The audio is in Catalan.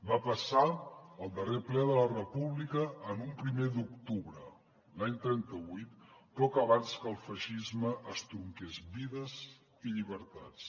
va passar al darrer ple de la república en un primer d’octubre l’any trenta vuit poc abans que el feixisme estronqués vides i llibertats